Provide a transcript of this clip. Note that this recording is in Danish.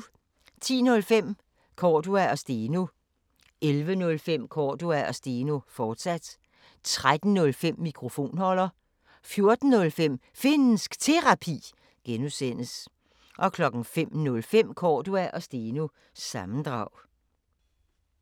10:05: Cordua & Steno 11:05: Cordua & Steno, fortsat 13:05: Mikrofonholder 14:05: Finnsk Terapi (G) 05:05: Cordua & Steno – sammendrag